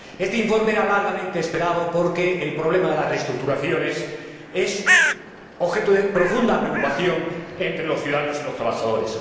Este informe era largamente esperado porque el problema de las reestructuraciones es objeto de profunda preocupación entre los ciudadanos y los trabajadores.